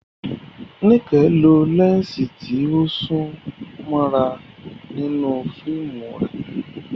Nike lo lẹ́ńsì tí ó sún mọ́ra nínú fíìmù rẹ̀.